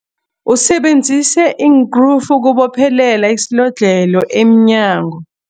Usebenzise iinkrufu ukubophelela isilodlhelo emnyango.